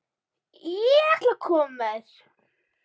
Ég ætla að koma með þér!